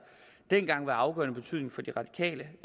dengang var af afgørende betydning for de radikale